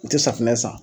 U tɛ safunɛ san